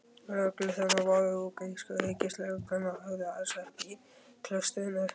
Lögregluþjónarnir voru úr grísku ríkislögreglunni og höfðu aðsetur í klaustrinu.